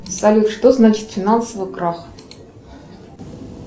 салют что значит финансовый крах